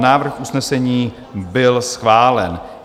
Návrh usnesení byl schválen.